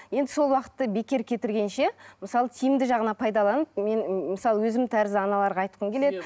енді сол уақытты бекер кетіргенше мысалы тиімді жағына пайдаланып мен мысалы өзім тәрізді аналарға айтқым келеді